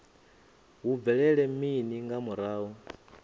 hu bvelela mini nga murahu